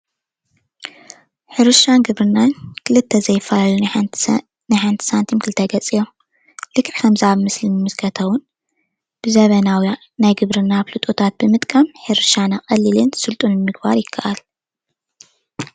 ሕርሻን ግብርናን ክልተ ዘይፈላለዩ ናይ ሓንቲ ሳንቲም ኽልተ ገፅ እዮም። ልክዕ ኣብቲ ምስሊ እንምልከቶም ብዘመናዊ ናይ ሕርሻ ኣፍልጦታት ብምጥቃም ሕርሻና ቀሊልን ስልጡንን ምግባር ይከኣል።